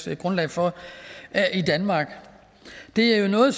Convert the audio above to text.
er grundlag for i danmark det er noget